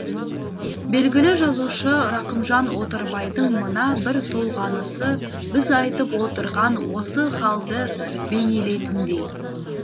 белгілі жазушы рақымжан отарбайдың мына бір толғанысы біз айтып отырған осы халді бейнелейтіндей